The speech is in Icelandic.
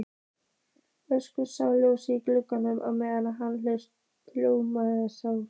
Össur sá ljós í glugganum á neðri hæð Hljómskálans.